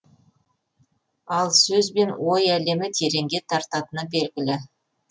ал сөз бен ой әлемі тереңге тартатыны белгілі